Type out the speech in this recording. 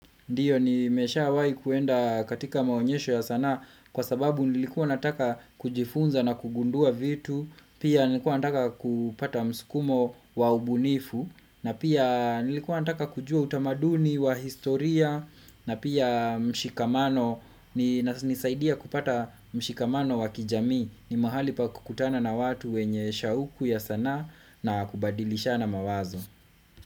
Ndiyo nimeshawai kuenda katika maonyesho ya sanaa. Kwa sababu nilikuwa nataka kujifunza na kugundua vitu. Pia nilikuwa nataka kupata msukumo wa ubunifu. Na pia nilikuwa nataka kujua utamaduni wa historia, na pia mshikamano, nisaidia kupata mshikamano wa kijamii. Ni mahali pa kukutana na watu wenye shauku ya sana na kubadilishana mawazo.